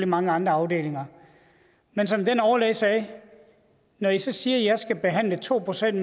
mange andre afdelinger men som overlægen sagde når i så siger at jeg skal behandle to procent